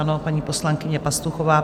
Ano, paní poslankyně Pastuchová.